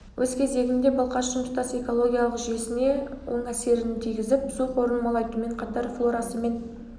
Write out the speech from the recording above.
өз кезегінде балқаштың тұтас экологиялық жүйесіне оң әсерін тигізіп су қорын молайтумен қатар флорасы мен